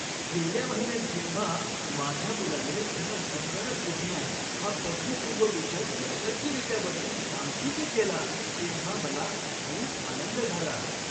गेल्या महिन्यात जेव्हा माझ्या मुलाने त्याचा संगणक विज्ञान हा पदवीपूर्व विषय यशस्वीरित्या बदलून सांख्यिकी केला तेव्हा मला खूप आनंद झाला.